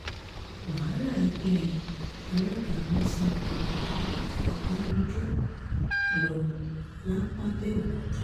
wàhálà ẹgbẹ́ alága wọn sà tó ọbànújò lọ lápàbèòkúta